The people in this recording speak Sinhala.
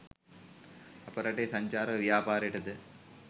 අප රටේ සංචාරක ව්‍යාපාරයට ද